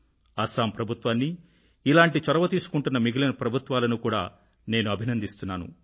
అస్సాం ప్రభుత్వాన్నీ ఇలాంటి చొరవ తీసుకుంటున్న మిగిలిన ప్రభుత్వాలనూ కూడా నేను అభినందిస్తున్నాను